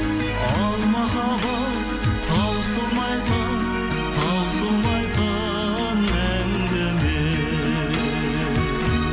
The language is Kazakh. ал махаббат таусылмайтын таусылмайтын әңгіме